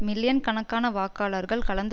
million கணக்கான வாக்காளர்கள் கலந்து